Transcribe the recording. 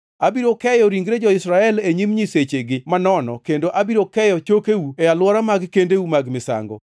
Abiro keyo ringre jo-Israel e nyim nyisechigi manono, kendo abiro keyo chokeu e alwora mag kendeu mag misango.